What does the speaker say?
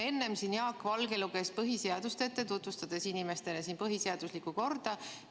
Enne siin Jaak Valge luges ette põhiseadust, tutvustades inimestele põhiseaduslikku korda.